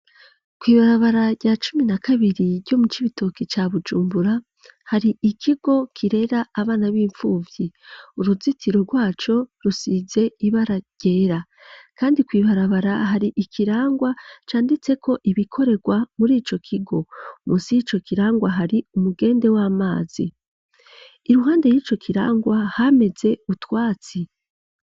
Kw'ibarabara rya cumi na kabiri ryo mu Cibitoki ca Bujumbura, hari ikigo kirera abana b'impfuvyi, uruzitiro rwaco rusize ibara ryera, kandi kw'ibarabara hari ikirangwa canditseko ibikorerwa muri ico kigo, munsi yico kirangwa hari umugende w'amazi, iruhande y'ico kirangwa hameze utwatsi.